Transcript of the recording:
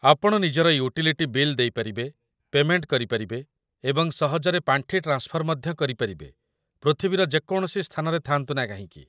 ଆପଣ ନିଜର utility bill ଦେଇପାରିବେ, ପେମେଣ୍ଟ କରିପାରିବେ, ଏବଂ ସହଜରେ ପାଣ୍ଠି ଟ୍ରାନ୍ସଫର ମଧ୍ୟ କରିପାରିବେ, ପୃଥିବୀର ଯେକୌଣସି ସ୍ଥାନରେ ଥାଆନ୍ତୁ ନା କାହିଁକି